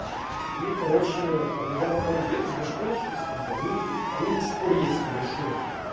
и короче у меня потом беды с башкой начались как бы они они до сих пор есть небольшие